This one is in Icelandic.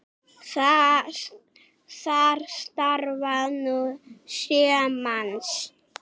Þar starfa nú sjö manns.